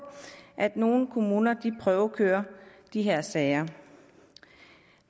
at nogle kommuner prøvekører de her sager